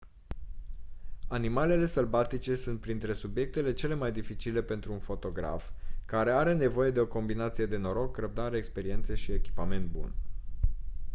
animalele sălbatice sunt printre subiectele cele mai dificile pentru un fotograf care are nevoie de o combinație de noroc răbdare experiență și echipament bun